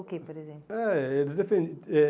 O que, por exemplo? Eh eles defen eh